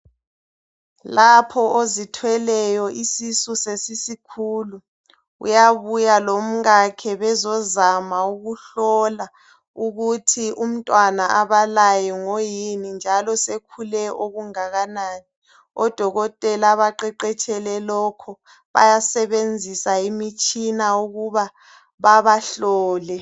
Lapho ozithweleyo isisu sesisikhulu uyabuya lomkakhe bezozama ukuhlola ukuthi umntwana abalaye ngoyini njalo sekhule okungakanani. ODokotela abaqeqetshele lokhu bayasebenzisa imitshina ukuba babahlole.